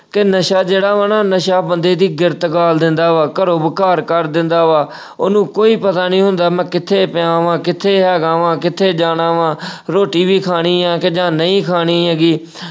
ਕਿ ਨਸ਼ਾ ਜਿਹੜਾ ਵਾ ਨਾ ਨਸ਼ਾ ਬੰਦੇ ਦੀ ਗਿਰਤ ਗਾਲ ਦਿੰਦਾ ਵਾ, ਘਰੋਂ ਬੇ-ਘਰ ਕਰ ਦਿੰਦਾ ਵਾ ਅਹ ਉਹਨੂੰ ਕੋਈ ਪਤਾ ਨਹੀਂ ਹੁੰਦਾ ਮੈਂ ਕਿੱਥੇ ਪਿਆ ਵਾ, ਕਿੱਥੇ ਹੈਗਾ ਵਾ, ਕਿੱਥੇ ਜਾਣਾ ਵਾ ਅਹ ਰੋਟੀ ਵੀ ਖਾਣੀ ਆ ਕਿ ਜਾਂ ਨਹੀਂ ਖਾਣੀ ਹੈਗੀ।